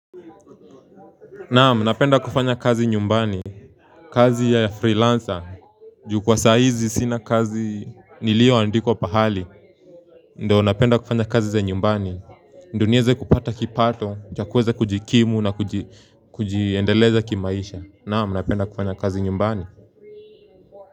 Naam napenda kufanya kazi nyumbani kazi ya freelancer ju kwa saa hizi sina kazi nilioandikwa pahali Ndio napenda kufanya kazi za nyumbani ndo niweze kupata kipato, cha kuweza kujikimu na kujiendeleza kimaisha. Naam napenda kufanya kazi nyumbani.